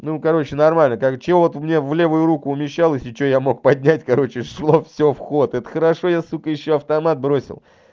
ну короче нормально как что вот мне в левую руку умещалось что я мог поднять короче шло всё вход это хорошо я сука ещё автомат бросил